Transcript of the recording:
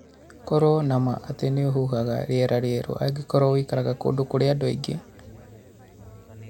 Korũo na ma atĩ nĩ ũhuhaga rĩera rĩerũ angĩkorũo ũikaraga kũndũ kũrĩ na andũ aingĩ.